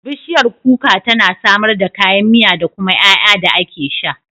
Bishiyar kuka tana samar da kayan miya da kuma ƴaƴa da ake sha.